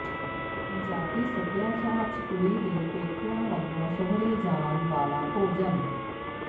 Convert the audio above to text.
ਪੰਜਾਬੀ ਸੱਭਿਆਚਾਰ ਚ ਕੁੜੀ ਦੇ ਪੇਕਿਆ ਵੱਲੋਂ ਸੁਹਰੇ ਜਾਣ ਵਾਲਾ ਭੋਜਨ